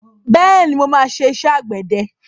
Bẹ́ẹ̀ni, mo máa ṣe iṣẹ́ àgbẹ̀dẹ.